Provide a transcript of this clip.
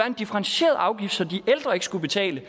en differentieret afgift så de ældre ikke skulle betale